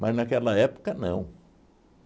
Mas naquela época, não.